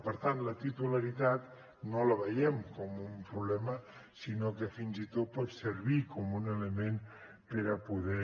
per tant la titularitat no la veiem com un problema sinó que fins i tot pot servir com un element per a poder